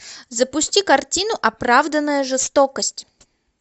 запусти картину оправданная жестокость